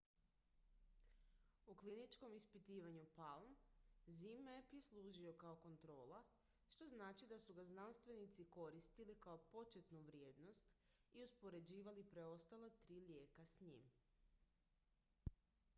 u kliničkom ispitivanju palm zmapp je služio kao kontrola što znači da su ga znanstvenici koristili kao početnu vrijednost i uspoređivali preostala tri lijeka s njim